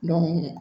Dɔnkili